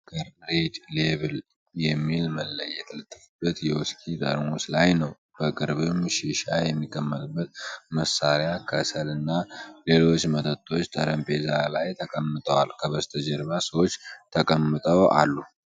ዋናው ትኩረት ጆኒ ዎከር ሬድ ሌብል የሚል መለያ የተለጠፈበት የውስኪ ጠርሙስ ላይ ነው። በቅርብም ሺሻ የሚቀመጥበት መሳሪያ፣ ከሰል እና ሌሎች መጠጦች ጠረጴዛ ላይ ተቀምጠዋል። ከበስተጀርባ ሰዎች ተቀምጠው አሉ።